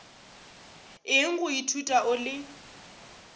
eng go ithuta o le